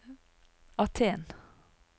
Aten